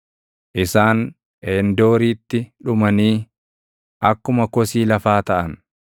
isaan Eendooritti dhumanii akkuma kosii lafaa taʼan.